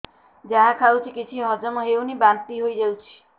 ଯାହା ଖାଉଛି କିଛି ହଜମ ହେଉନି ବାନ୍ତି ହୋଇଯାଉଛି